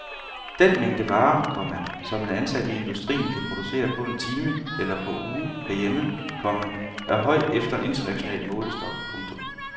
Den mængde varer, komma som en ansat i industrien kan producere på en time eller på uge herhjemme, komma er høj efter en international målestok. punktum